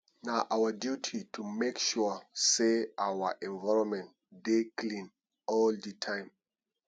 na our duty to make sure sey our environment dey clean all di time